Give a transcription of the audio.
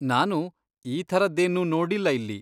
ನಾನು ಈ ಥರದ್ದೇನ್ನೂ ನೋಡಿಲ್ಲ ಇಲ್ಲಿ.